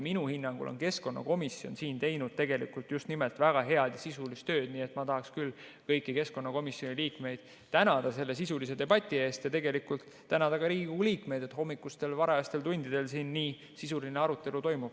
Minu hinnangul on keskkonnakomisjon teinud tegelikult just nimelt väga head ja sisulist tööd, nii et ma tahaksin küll kõiki keskkonnakomisjoni liikmeid tänada selle sisulise debati eest ja tänada ka Riigikogu liikmeid, et hommikustel varajastel tundidel siin nii sisuline arutelu toimub.